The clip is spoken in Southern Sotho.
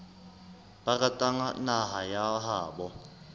ba ratang naha ya habo